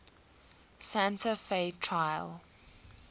santa fe trail